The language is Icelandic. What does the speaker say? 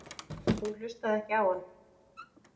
Hún hlustaði ekki á hann.